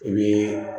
O ye